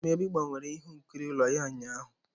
Dumebi gbanweru ihe nkiri ụlọ ya ụnyahụ.